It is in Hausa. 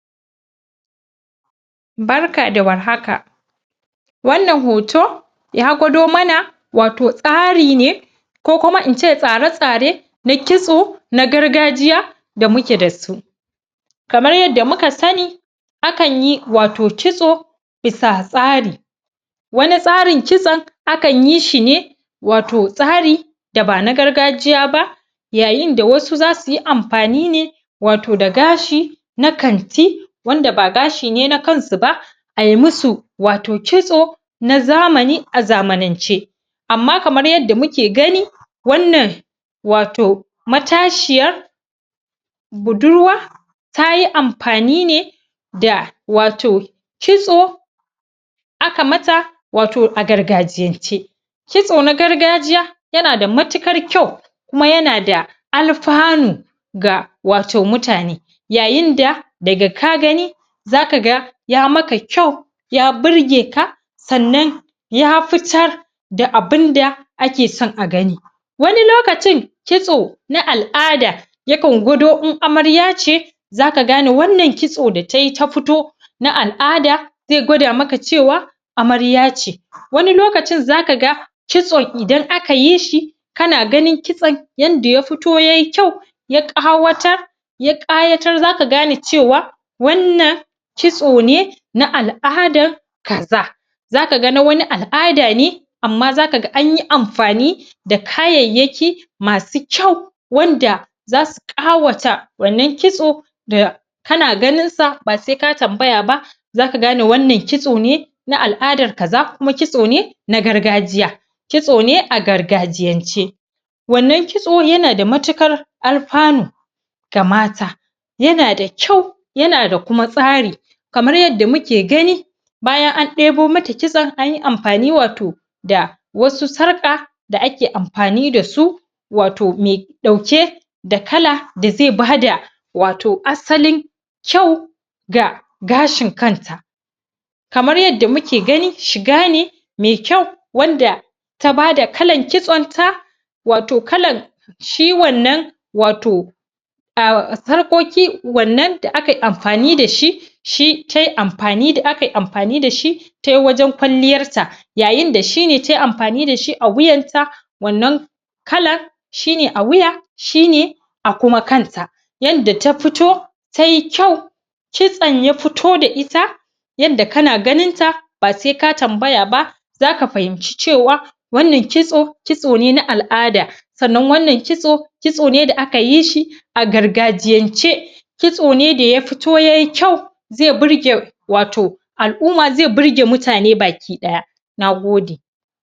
barka da warhaka wannan hoto ya gwado mana wato tsari ne ko kuma ince tsare tsare na kitso na gargajiya da muke da su kamar yadda muka sani akanyi wato kitso bisa tsari wani tsarin kitson akan yi shine wato tsari da ba na gargajiya ba yayin da wasu zasuyi amfani ne wato ga gashi na kanti wanda ba gashi ne na kasu ba ayi musu wato kitso na zamani a zamanance amma kamar yadda muke gani wannan wato matashiyar budurwa tayi amfani ni ne da wato kitso aka mata a gargajiyance kitso na gagajiya yana da matukar kyau kuma yana da alfanu wato ga mutane yayin da daga ka gani zaka ga ya maka kyau ya burgeka sannan ya fitar da abun da akeson a gani wani lkacin kitso na al'ada yakan gwado in amarya ce zaka gane wannan kitso da tayi ta fito na al'ada zai gwada maka cewa amarya ce wani lokacin zaka ga kitson idan aka yishi kana ganin kitson yanda ya fito yayi kyau ya qawatar ya ƙyayatar wannan kitso kitso ne na al'adar kaza zaka ga wani na al'adane amma zaka ga anyi amfani da kayayyaki masu kyau wanda zasu ƙawata wannan kitso da kana ganin sa ba sai ka tambaya ba zaka gane wannan kitso ne al'adar kaza kuma kitsone na gargajiya kitsone a gargajiyance wannan kitso yana da matukar alfanu ga mata yana kyau yana da kuma tsari kamar yadda muke gani bayan an debo mata kitson anyi amfani wato da wasu sarƙa da ake amfani da su wato mai dauke da da kala da zai bada wato asalin kyau ga gashin kanta kamar yadda muke gani shiga ne mai kyau wanda ta bada kalan kitson ta wato kalan shi wannan wato a sarƙokin wanda wannan da akayi amfani dashi shi tayi amfani da amfani da shi tayi wajen ƙwalliyarta yayin da shine tayi amfani dashi a wuyarta wannan kalan shine a wuya shine a kuma kanta yanda ta fito tayi kyau kitson ya fito da ita yadda kana ganinta ba sai ka tambaya ba zaka fahimci cewa wannan kitso kitsone na al'ada sannan wannan kitso kitso ne da akayi shi a gargajiyance kitsone daa ya fito yayi kyau zai burge wato al'umma zai burge mutane baki daya na gode